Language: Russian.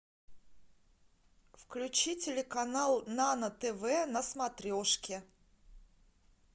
включи телеканал нано тв на смотрешке